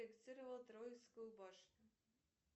троицкую башню